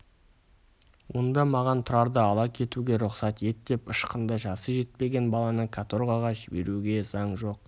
онда маған тұрарды ала кетуге рұқсат ет деп ышқынды жасы жетпеген баланы каторгаға жіберуге заң жоқ